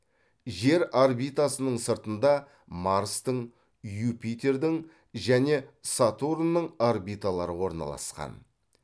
жер орбитасының сыртында марстың юпитердің және сатурнның орбиталары орналасқан